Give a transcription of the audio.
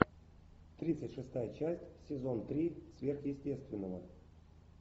тридцать шестая часть сезон три сверхъестественного